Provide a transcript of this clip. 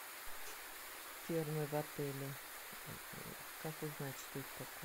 термы в отеле как узнать что это такое